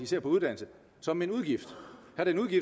ser på uddannelse som en udgift